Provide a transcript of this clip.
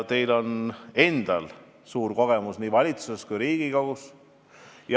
Teil on endal suur kogemus nii valitsuses kui ka Riigikogus.